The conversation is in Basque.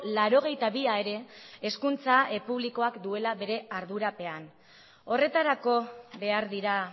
laurogeita bi a ere hezkuntza publikoak duela bere ardurapean horretarako behar dira